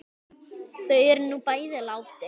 Þau eru nú bæði látin.